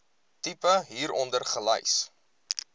tipe hieronder gelys